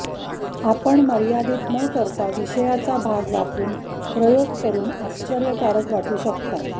आपण मर्यादीत न करता विषयाचा भाग वापरून प्रयोग करून आश्चर्यकारक वाटू शकता